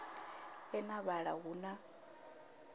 e na vhala hu na